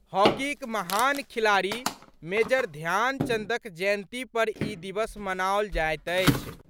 हॉकीक महान खिलाड़ी मेजर ध्यानचंदक जयंती पर ई दिवस मनाओल जाएत अछि।